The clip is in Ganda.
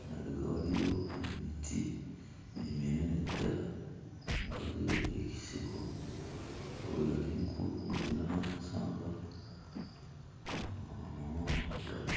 emabega waliyo emiti eminene ddala nga waliyo ekisiko. Enjovu yali nkulu ng'erina n'amasanga amawanvu ddala.